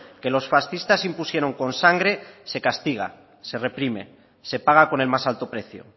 que los fascistas impusieron con sangre se castiga se reprime se paga con el más alto precio